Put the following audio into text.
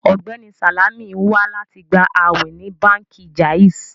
Ọgbẹni Salamì n wà láti gbà àwìn ní Bánkì Jàìzì.